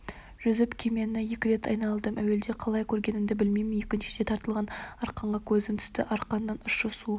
жүзіп кемені екі рет айналдым әуелгіде қалай көрмегенімді білмеймін екіншіде тартылған арқанға көзім түсті арқанның ұшы су